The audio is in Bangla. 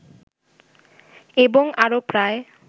এবং আরো প্রায়